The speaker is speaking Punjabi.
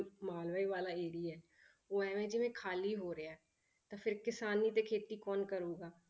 ਮਾਲਵੇ ਵਾਲਾ area ਹੈ, ਉਹ ਇਵੇਂ ਜਿਵੇਂ ਖਾਲੀ ਹੋ ਰਿਹਾ ਹੈ, ਤਾਂ ਫਿਰ ਕਿਸਾਨੀ ਤੇ ਖੇਤੀ ਕੌਣ ਕਰੇਗਾ।